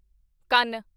ਕੰਨ